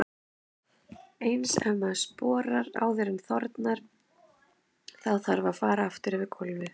Eins ef maður sporar áður en þornar, þá þarf að fara aftur yfir gólfið.